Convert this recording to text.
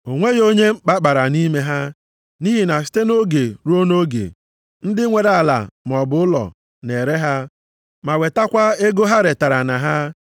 O nweghị onye mkpa kpara nʼime ha, nʼihi na site nʼoge ruo nʼoge, ndị nwere ala maọbụ ụlọ na-ere ha, ma wetakwa ego ha retara na ha,